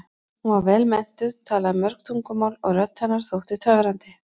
Hún var vel menntuð, talaði mörg tungumál og rödd hennar þótti töfrandi.